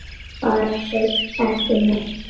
Bara hreint ekki neitt.